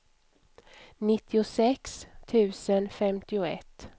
nittiosex tusen femtioett